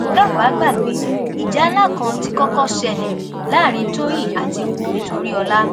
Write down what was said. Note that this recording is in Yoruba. tẹ ò bá gbàgbé ìjà ńlá kan tí kọkọ ṣẹlẹ láàrin tọyín àti wumi toríọlá